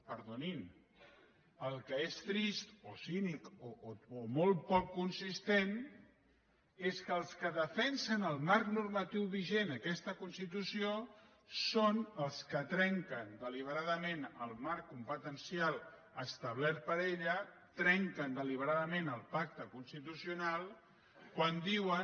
perdonin el que és trist o cínic o molt poc consistent és que els que defensen el marc normatiu vigent aquesta constitució són els que trenquen deliberadament el marc competencial establert per ella trenquen deliberadament el pacte constitucional quan diuen